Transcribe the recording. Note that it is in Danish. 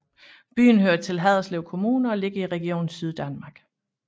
Byen hører til Haderslev Kommune og ligger i Region Syddanmark